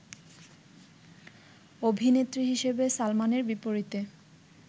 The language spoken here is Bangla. অভিনেত্রী হিসেবে সালমানের বিপরীতে